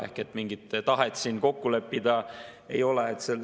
Ehk mingit tahet siin kokku leppida ei ole.